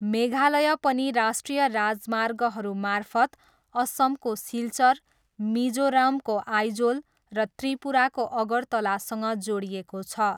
मेघालय पनि राष्ट्रिय राजमार्गहरू मार्फत असमको सिल्चर, मिजोरमको आइजोल र त्रिपुराको अगरतलासँग जोडिएको छ।